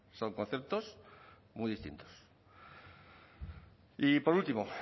son conceptos muy distintos y por último